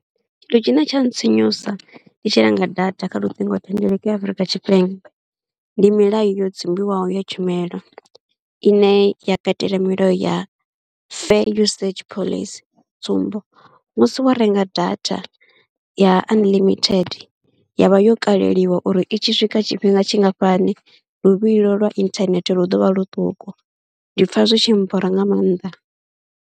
Tshithu tshine tsha ntsinyusa ndi tshi renga data kha luṱingothendeleki ya Afrika Tshipembe, ndi milayo yo dzumbiwaho ya tshumelo ine ya katela milayo ya fair usage phoḽisi, sa tsumbo, musi wo renga data ya unlimited ya vha yo kaleliwa uri i tshi swika tshifhinga tshingafhani luvhilo lwa inthanethe lu ḓo vha luṱuku, ndi pfha zwi tshi nbora nga maanḓa.